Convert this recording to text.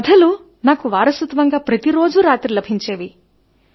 ఆ కథలు నాకు వారసత్వం గా ప్రతి రోజు రాత్రి లభించేవి